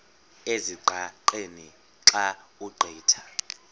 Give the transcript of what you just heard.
ezingqaqeni xa ugqitha